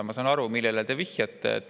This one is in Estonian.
Ma saan aru, millele te vihjate.